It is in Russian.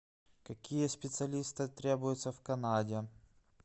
какие специалисты требуются в канаде